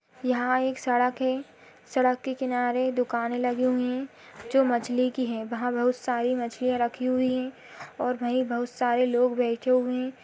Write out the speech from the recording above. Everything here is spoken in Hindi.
यहाँ एक सड़क है। सड़क के किनारे दुकाने लगी हुई हैं। जो मछली की है वहां बहुत सारी मछलियाँ रखी हुई हैं और वहीं बहुत सारे लोग बैठे हुए हैं।